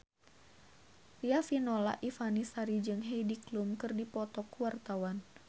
Riafinola Ifani Sari jeung Heidi Klum keur dipoto ku wartawan